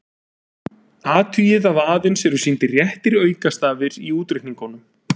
Athugið að aðeins eru sýndir réttir aukastafir í útreikningunum.